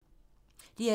DR2